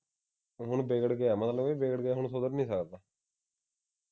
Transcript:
ਹੁਣ ਵਿਗੜ ਕੇ ਆਇਆ ਮਤਲਬ ਇਹ ਵਿਗੜ ਗਿਆ ਹੁਣ ਸੁਧਰ ਨਹੀਂ ਸਕਦਾ